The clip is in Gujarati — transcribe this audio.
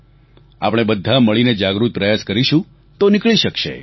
આપણે બધા મળીને જાગૃત પ્રયાસ કરીશું તો નીકળી શકશે